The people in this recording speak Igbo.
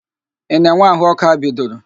Ị na-enwe ahụ ọkụ a bidoro?